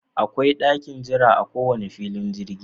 Akwai ɗakin jira a ko wani filin jirgi.